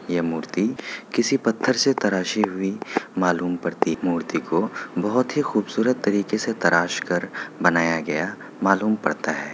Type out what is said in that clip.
ये मूर्ति किसी पत्थर से तराशी हुई मालूम पड़ती मूर्ति को बहुते खुबसुरत तरीके से तरास कर बनाया गया मालूम पड़ता हैं।